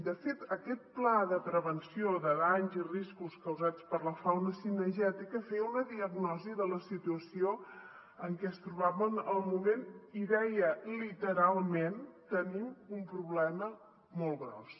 de fet aquest pla de prevenció de danys i riscos causats per la fauna cinegètica feia una diagnosi de la situació en què es trobaven al moment i deia literalment tenim un problema molt gros